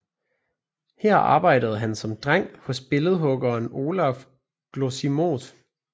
Her arbejdede han som dreng hos billedhuggeren Olaf Glosimodt